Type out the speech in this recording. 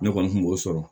Ne kɔni kun b'o sɔrɔ